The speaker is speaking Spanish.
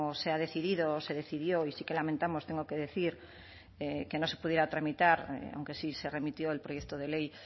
se ha decidido se decidió y sí que lamentamos tengo que decir que no se pudiera tramitar aunque sí se remitió el proyecto de ley